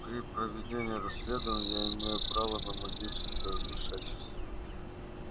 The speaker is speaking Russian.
при проведении расследования я имею право на магическое вмешательство